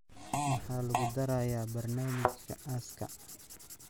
Maxaa lagu darayaa barnaamijka aaska?